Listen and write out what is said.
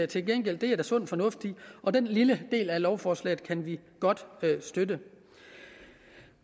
til gengæld der er sund fornuft i og den lille del af lovforslaget kan vi godt støtte